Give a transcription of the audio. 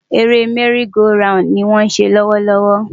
Eré merry-go-round ni wọ́n ń ṣe lọ́wọ́ lọ́wọ́.